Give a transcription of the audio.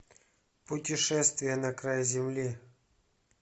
путешествие на край земли